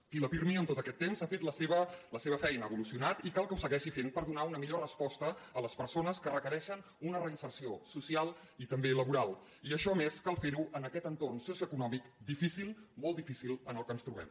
i el pirmi en tot aquest temps ha fet la seva feina ha evolucionat i cal que ho segueixi fent per donar una millor resposta a les persones que requereixen una reinserció social i també laboral i això a més cal fer ho en aquest entorn socioeconòmic difícil molt difícil en el qual ens trobem